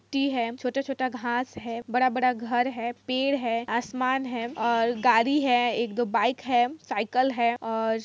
T है छोटा छोटा घास है बड़ा बड़ा घर है पेड़ है आसमान है और गाड़ी है एक दो बाइक है साइकल है और--